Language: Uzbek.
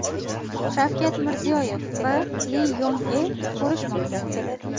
Shavkat Mirziyoyev va Li Yong E ko‘rishmoqda.